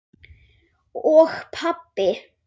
og pabbi.